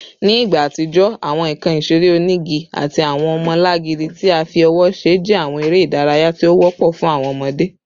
Ni igba atijọ, awọn nkan isere onigi ati awọn ọmọlangidi ti a fi ọwọ ṣe jẹ awọn ere idaraya ti o wọpọ fun awọn ọmọde